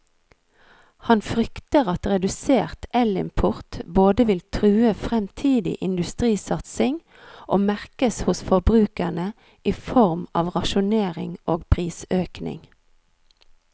Han frykter at redusert elimport både vil true fremtidig industrisatsing og merkes hos forbrukerne i form av rasjonering og prisøkning.